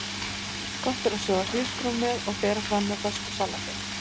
Gott er að sjóða hrísgrjón með og bera fram með fersku salati.